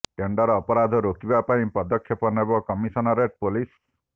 tender ଅପରାଧ ରୋକିବା ପାଇଁ ପଦକ୍ଷେପ ନେବ କମିସନରେଟ୍ ପୋଲିସ